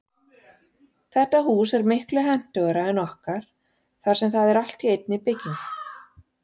Þetta hús er miklu hentugra en okkar þar sem það er allt í einni byggingu.